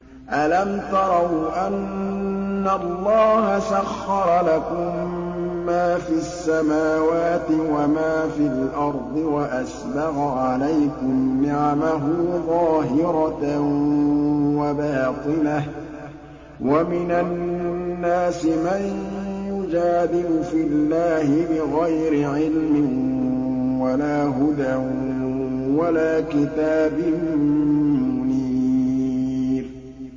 أَلَمْ تَرَوْا أَنَّ اللَّهَ سَخَّرَ لَكُم مَّا فِي السَّمَاوَاتِ وَمَا فِي الْأَرْضِ وَأَسْبَغَ عَلَيْكُمْ نِعَمَهُ ظَاهِرَةً وَبَاطِنَةً ۗ وَمِنَ النَّاسِ مَن يُجَادِلُ فِي اللَّهِ بِغَيْرِ عِلْمٍ وَلَا هُدًى وَلَا كِتَابٍ مُّنِيرٍ